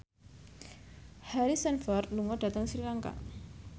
Harrison Ford lunga dhateng Sri Lanka